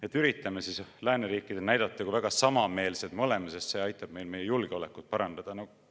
Et üritame siis lääneriikidele näidata, kui väga samameelsed me oleme, sest see aitab meil meie julgeolekut parandada?